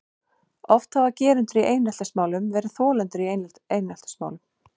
Oft hafa gerendur í eineltismálum verið þolendur í eineltismálum.